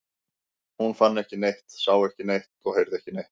Hún fann ekki neitt, sá ekki neitt og heyrði ekki neitt.